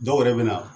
Dɔw yɛrɛ bɛ na